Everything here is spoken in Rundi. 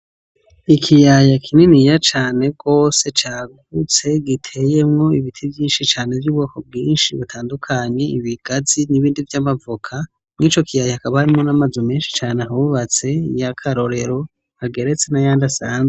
Ikiyaya kininiya cane rwose cagutse giteyemwo ibiti vyinshi cane vy'ubwoko bwinshi butandukanye ibigazi n'ibindi vy'amavoka mwico kiyaya akabarimo namazu menshi cane hawubatse ya karorero ageretse na yandi asanzwe.